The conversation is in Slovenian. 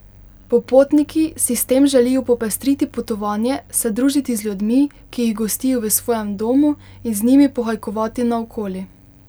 Popotniki si s tem želijo popestriti potovanje, se družiti z ljudmi, ki jih gostijo v svojem domu, in z njimi pohajkovati naokoli.